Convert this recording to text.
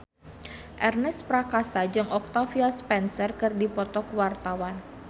Ernest Prakasa jeung Octavia Spencer keur dipoto ku wartawan